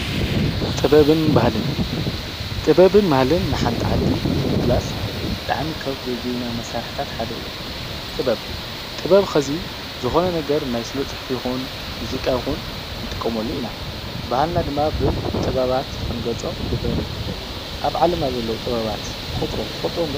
ጥበብን ባህልን:- ጥበብን ባህልን ንሓንቲ ዓዲ ንምግላፅ ብጣዕሚ ካብ ዘድልዩና መሳርሕታት ሓደ እዩ፡፡ ጥበብ፣ ጥበብ ኸዚ ዝኾነ ነገር ናይ ስነ ፅሑፍ ይኹን ሙዚቃ ይኹን ንጥቀመሉ ኢና፡፡ ባህልና ድማ ብጥበባት ክንገልፆ ይግበአና፡፡ ኣብ ዓለምና ዘለው ጥበባት ቑፅሮም ትፈልጥዎም ዶ?